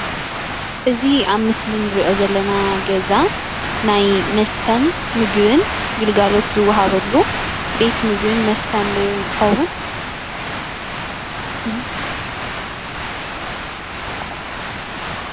እዚ ኣብ ምስሊ ንሪኦ ዘለና ገዛ ናይ መስተን ምግብን ግልጋሎት ዝዋሃበሉ ቤት ምግብን መስተን ዶ ይኸውን?